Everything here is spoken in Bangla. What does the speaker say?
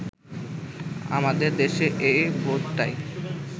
আমাদের দেশে এই বোধটাই